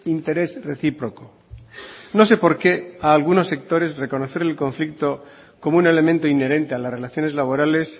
interés reciproco no sé por qué a algunos sectores reconocer el conflicto como un elemento inherente a las relaciones laborales